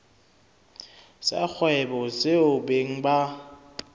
sa kgwebo seo beng ba